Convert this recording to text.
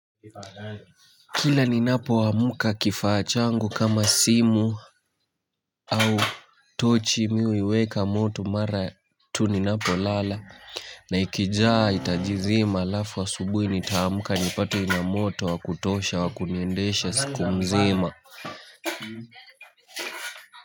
Kila ninapo amka kifaa changu kama simu au tochi mi uiweka moto mara tu ninapo lala na ikijaa itajizima alafu asubuhi nitaamka nipate ina moto wa kutosha wa kuniendesha siku mzima.